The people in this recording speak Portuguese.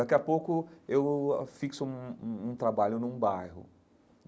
Daqui a pouco, eu fixo um um um trabalho num bairro.